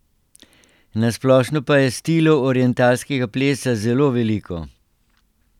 Na splošno pa je stilov orientalskega plesa zelo veliko.